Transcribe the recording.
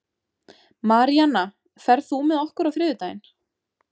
Maríana, ferð þú með okkur á þriðjudaginn?